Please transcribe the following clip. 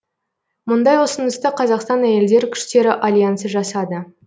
мұндай ұсынысты қазақстан әйелдер күштері альянсы жасады